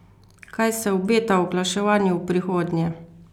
Kaj se obeta oglaševanju v prihodnje?